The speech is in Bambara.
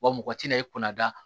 Wa mɔgɔ tɛna i kunna